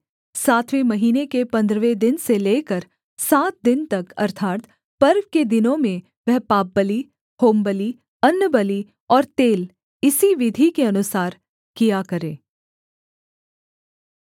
सातवें महीने के पन्द्रहवें दिन से लेकर सात दिन तक अर्थात् पर्व के दिनों में वह पापबलि होमबलि अन्नबलि और तेल इसी विधि के अनुसार किया करे